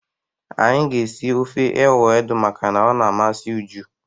Anyị ga-esi ofe ewedu makana ọ na-amasị Uju.